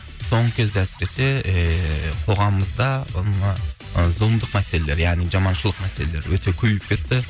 соңғы кезде әсіресе ііі қоғамымызда зұлымдық мәселелері яғни жаманшылық мәселелері өте көбейіп кетті